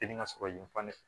Teli ŋa sɔrɔ yen fan de fɛ